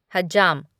हज्जाम